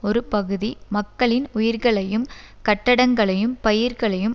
ஒருபகுதி மக்களின் உயிர்களையும் கட்டடங்களையும் பயிர்களையும்